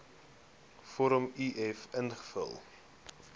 vorm uf invul